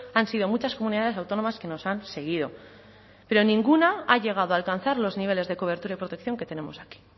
han sido muchas comunidades autónomas que nos han seguido pero ninguna ha llegado a alcanzar los niveles de cobertura y protección que tenemos aquí